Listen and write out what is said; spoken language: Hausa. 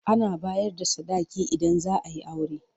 Ana bayar da sadaki idan zaa yi aure.